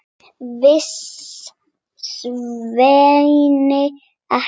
Vissi Svenni ekki?